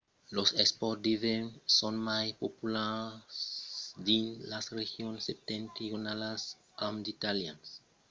los espòrts d’ivèrn son mai populars dins las regions septentrionalas amb d’italians que participan als jòcs internacionals e als eveniments olimpics